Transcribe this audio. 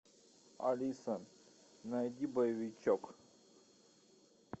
алиса найди боевичок